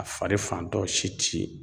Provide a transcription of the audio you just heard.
A fari fantɔw si ti ye.